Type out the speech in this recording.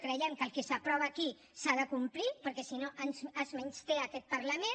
creiem que el que s’aprova aquí s’ha de complir perquè si no es menysté aquest parlament